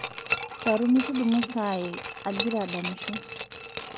saruni tudumu saai agira adamisho